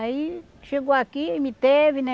Aí chegou aqui e me teve, né?